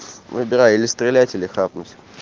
выбирай или стрелять или хапнуть